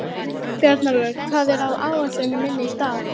Bjarnólfur, hvað er á áætluninni minni í dag?